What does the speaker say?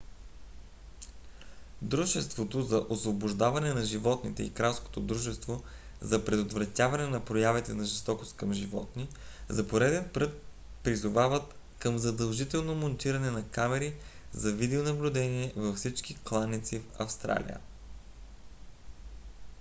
дружеството за освобождаване на животните и кралското дружество за предотвратяване на проявите на жестокост към животни rspca за пореден път призовават към задължително монтиране на камери за видеонаблюдение във всички кланици в австралия